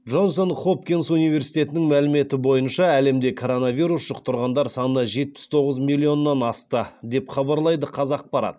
джонс хопкинс университетінің мәліметі бойынша әлемде коронавирус жұқтырғандар саны жетпіс тоғыз миллионнан асты деп хабарлайды қазақпарат